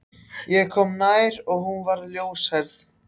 Ég kom nær og hún var ljóshærð.